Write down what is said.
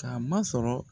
K'a masɔrɔ